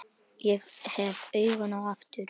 Ég hef augun aftur.